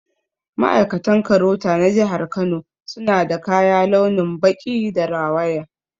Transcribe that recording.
Ma'aikatan KAROTA na jihar Kano suna da kaya launin baƙi da rawaya